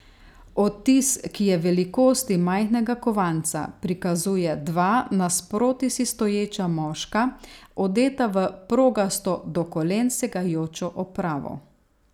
Odtis, ki je velikosti majhnega kovanca, prikazuje dva nasproti si stoječa moška, odeta v progasto do kolen segajočo opravo.